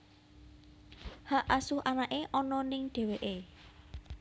Hak asuh anaké ana ning dheweké